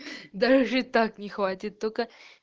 даже так не хватит только